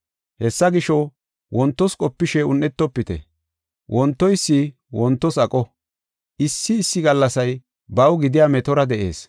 Hessa gisho, wontos qopishe un7etofite. Wontoysi wontos aqo; issi issi gallasay baw gidiya metora de7ees.